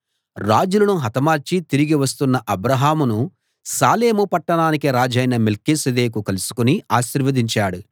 రాజులను హతమార్చి తిరిగి వస్తున్న అబ్రాహామును షాలేం పట్టణానికి రాజైన మెల్కీసెదెకు కలుసుకుని ఆశీర్వదించాడు